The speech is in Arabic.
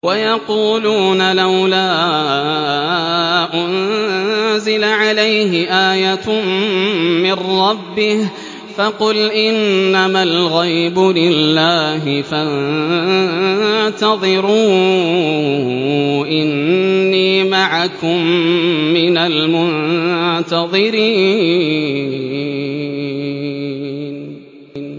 وَيَقُولُونَ لَوْلَا أُنزِلَ عَلَيْهِ آيَةٌ مِّن رَّبِّهِ ۖ فَقُلْ إِنَّمَا الْغَيْبُ لِلَّهِ فَانتَظِرُوا إِنِّي مَعَكُم مِّنَ الْمُنتَظِرِينَ